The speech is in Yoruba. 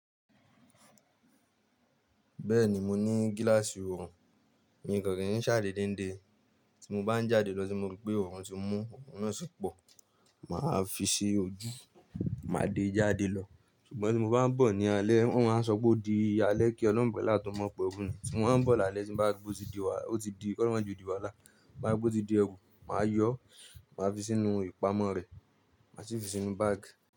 Bẹ́ẹ̀ni mo ní gíláàsì ọrùn, mi nìkan kì í ṣáá déédé ń de. Tí mo bá ń jáde lọ tí mo rí pé ọrùn ti mú, ọrùn náà sì pọ̀, màá fi sí ojú, màá de jáde lọ. Ṣùgbọ́n tí mo bá ń bọ̀ ní alẹ́, wọ́n máa ń sọ gbó di alẹ́ kí olọ́mọ pẹ̀lú àtọmọ pẹ́ òru. Tí mo bá ń bọ̀ lálẹ́ tí bá gbó ti di wá, ó ti di kọ́ró máa ju òdìwálà. Tí ń bá rí pé ó ti di ẹrú, màá yọ, màá fi sínú ìpamọ́ rẹ̀, màá sì fi sínú báàgì.